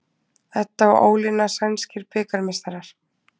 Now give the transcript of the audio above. Edda og Ólína sænskir bikarmeistarar